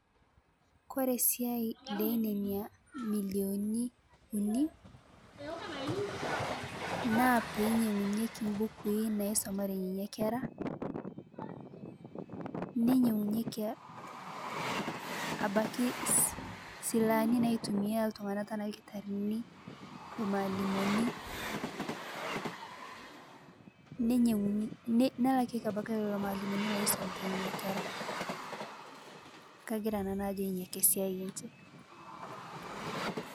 Kore siai lenenia milioni unii naa peinyeng'unyekii mbukui naisomaree nenia keraa neinyeng'unyekii abakii silahanii naitumia ltung'ana tanaa lkitarinii, lmaalimoni neinye nelakieki abakii leloo maalimoni loisomitaa nenia keraa. Kagira nanuu ajo inia ake siai enshe.